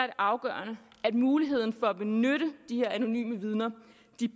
afgørende at muligheden for at benytte de her anonyme vidner